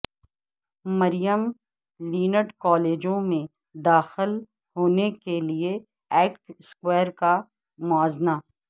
مریم land کالجوں میں داخل ہونے کے لئے ایکٹ سکور کا موازنہ